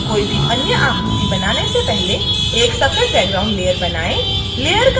कोई भी अन्य आकृति बनाने से पहले एक सफेद बैकग्राउंड लेयर बनाएं